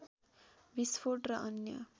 विस्फोट र अन्य